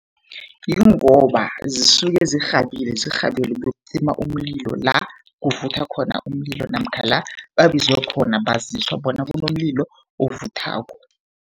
Yingoba zisuke zirhabile zirhabele ukuyokucima umlilo la kuvutha khona umlilo, namkha la babizwe khona baziswa bona kunomlilo ovuthako.